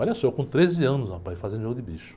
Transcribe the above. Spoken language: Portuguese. Olha só, eu com treze anos, rapaz, fazendo jogo de bicho.